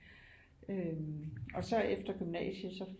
Øh og så efter gymnasiet så